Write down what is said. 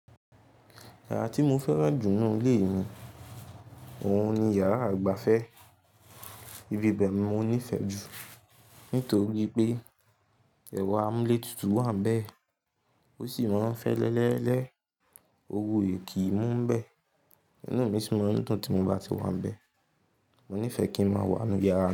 Yàrá tí mo fẹ́ràn jù nínú ilé mi òhun ni yàrá àgbàfẹ́. Ibi bẹ́ẹ̀ ni mo nífẹ̀ẹ́ jù nítorí pé ẹ̀rọ amúlétutu wà níbẹ̀ ó sì mọ́ n fẹ́ẹ́lẹ́lẹ́lẹ́, ooru o ìkí mú níbẹ̀. Ìnú mi sì mọ́ n dun tì mo bá ti wà níbẹ̀. Mo nífẹ̀ẹ́ kí n má wà ní inu yàrá.